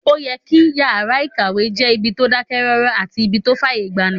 Ó yẹ kí yàrá-ìkàwé jẹ́ ibi tó dákẹ́ rọ́rọ́ àti ibí tó fàyè gbani